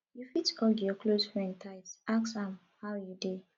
you fit hug your close friend tight ask am how you dey